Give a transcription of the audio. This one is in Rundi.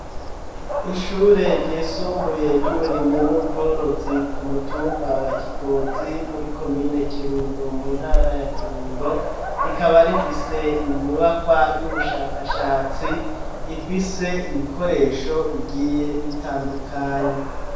Ishure ryisumbuye, ry'uburimyi n'ubworozi, ku mutumba wa Kigozi, muri komine Kirundo, mu ntara ya Kirundo; rikaba rifise inyubakwa, y'ubushakashatsi, ifise ibikoresho, bigiye bitandukanye.